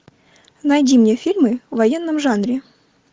найди мне фильмы в военном жанре